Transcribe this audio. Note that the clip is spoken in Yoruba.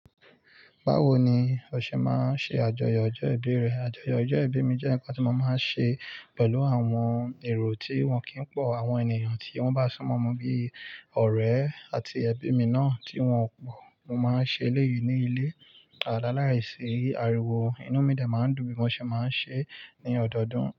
Báwo ni o ṣe máa ń ṣe àjọyọ̀ ọjọ́ ìbí rẹ? Àjọyọ̀ ọjọ́ ìbí mi jẹ́ ǹkan tí mo máa ń ṣe pẹ̀lú àwọn èrò tí wọ́n kì í pọ̀. Àwọn ènìyàn tí wọ́n bá sún mọ́ mi bíi ọ̀rẹ́ àti ẹbí mi náà tí wọ́n n pọ̀. Mo máa ń ṣe léyìí ní ilé a Alálàisìí ariwo inú mi de máa ń dùn bí mo ṣe máa ń ṣe ní ọdọọdún.